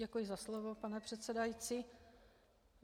Děkuji za slovo, pane předsedající.